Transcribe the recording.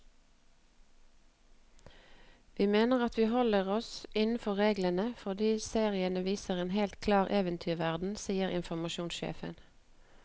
Vi mener at vi holder oss innenfor reglene, fordi seriene viser en helt klar eventyrverden, sier informasjonssjefen.